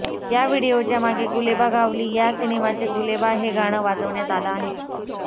या व्हिडीओच्या मागे गुलेबागावली या सिनेमाचे गुलेबा हे गाणं वाजवण्यात आलं आहे